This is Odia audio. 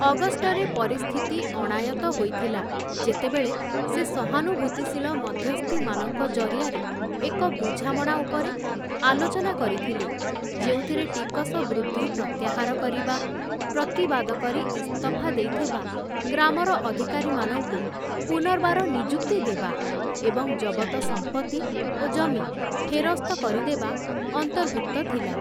ଅଗଷ୍ଟରେ ପରିସ୍ଥିତି ଅଣାୟତ୍ତ ହୋଇଥିଲା, ଯେତେବେଳେ ସେ ସହାନୁଭୂତିଶୀଳ ମଧ୍ୟସ୍ଥିମାନଙ୍କ ଜରିଆରେ ଏକ ବୁଝାମଣା ଉପରେ ଆଲୋଚନା କରିଥିଲେ, ଯେଉଁଥିରେ ଟିକସ ବୃଦ୍ଧି ପ୍ରତ୍ୟାହାର କରିବା, ପ୍ରତିବାଦ କରି ଇସ୍ତଫା ଦେଇଥିବା ଗ୍ରାମର ଅଧିକାରୀମାନଙ୍କୁ ପୁନର୍ବାର ନିଯୁକ୍ତି ଦେବା ଏବଂ ଜବତ ସମ୍ପତ୍ତି ଓ ଜମି ଫେରସ୍ତ କରିଦେବା ଅନ୍ତର୍ଭୁକ୍ତ ଥିଲା ।